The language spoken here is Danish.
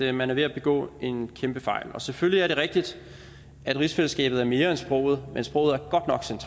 at man er ved at begå en kæmpe fejl selvfølgelig er det rigtigt at rigsfællesskabet er mere end sproget men sproget